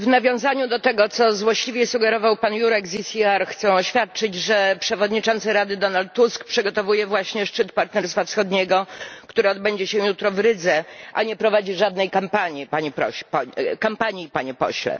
W nawiązaniu do tego, co złośliwie sugerował pan Jurek z ECR, chcę oświadczyć, że przewodniczący Rady Donald Tusk przygotowuje właśnie szczyt Partnerstwa Wschodniego, które odbędzie się jutro w Rydze, a nie prowadzi żadnej kampanii, panie pośle.